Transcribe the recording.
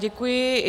Děkuji.